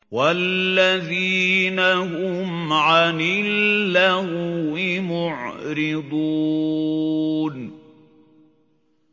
وَالَّذِينَ هُمْ عَنِ اللَّغْوِ مُعْرِضُونَ